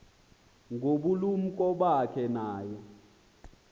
ngobulumko bakhe naye